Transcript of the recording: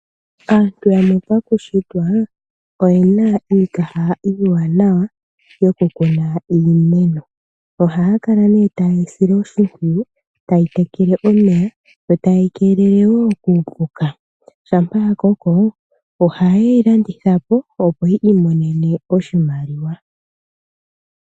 Aantu yamwe pakushitwa, oyena iikaha iiwanawa yoku kuna iimeno. Ohaya kala nee taye yi sile oshi mpwiyu, taye yi tekele omeya, yo taye yi keelele wo kuupuka. Shampa ya koko, oha ye yi landitha po opo yi imonene oshimaliwa.